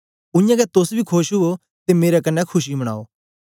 उयांगै तोस बी खोश उयो ते मेरे कन्ने खुशी मनायो